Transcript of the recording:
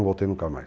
voltei nunca mais.